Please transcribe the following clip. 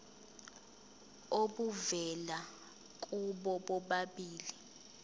obuvela kubo bobabili